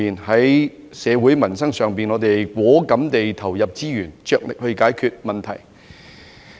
在社會民生上，我們果敢地投入資源，着力去解決問題。